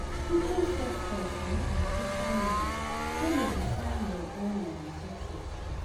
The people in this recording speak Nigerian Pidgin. People's success on social media no dey define your own success.